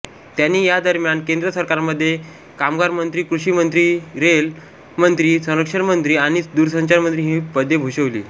त्यांनी या दरम्यान केंद्र सरकारमध्ये कामगारमंत्रीकृषीमंत्रीरेल्वेमंत्रीसंरक्षणमंत्री आणि दूरसंचारमंत्री ही पदे भूषविली